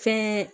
Fɛn